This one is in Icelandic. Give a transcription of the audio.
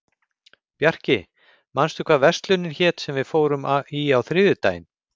Bjarki, manstu hvað verslunin hét sem við fórum í á þriðjudaginn?